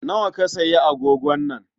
Nawa ka sayi agogon nan?